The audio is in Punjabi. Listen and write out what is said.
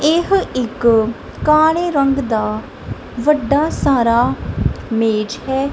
ਇਹੋ ਇੱਕ ਕਾਲੇ ਰੰਗ ਦਾ ਵੱਡਾ ਸਾਰਾ ਮੇਜ ਹੈ।